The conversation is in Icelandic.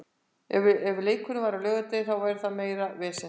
Ef að leikurinn væri á laugardegi þá væri þetta meira vesen.